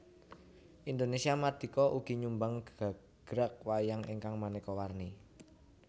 Indonésia mardika ugi nyumbang gagrag wayang ingkang manéka warni